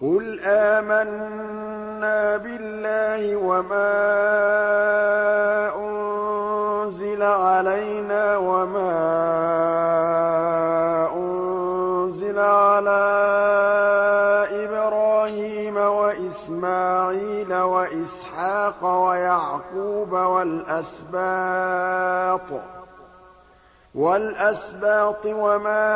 قُلْ آمَنَّا بِاللَّهِ وَمَا أُنزِلَ عَلَيْنَا وَمَا أُنزِلَ عَلَىٰ إِبْرَاهِيمَ وَإِسْمَاعِيلَ وَإِسْحَاقَ وَيَعْقُوبَ وَالْأَسْبَاطِ وَمَا